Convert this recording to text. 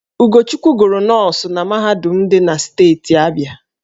Ugochukwu gụrụ nọọsụ na mahadum dị na steeti Abịa.